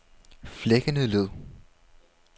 Flækkendeled